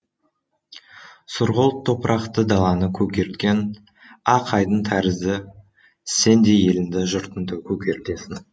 сұрғылт топырақты даланы көгерткен ақ айдын тәрізді сен де еліңді жұртыңды көгертесің